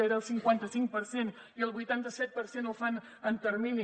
era el cinquanta cinc per cent i el vuitanta set per cent ho fan en termini